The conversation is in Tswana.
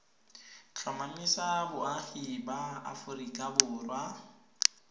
tlhomamisa boagi ba aforika borwa